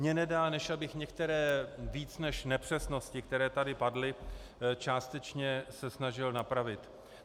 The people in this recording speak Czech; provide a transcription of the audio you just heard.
Mně nedá, než abych některé více než nepřesnosti, které tady padly, částečně se snažil napravit.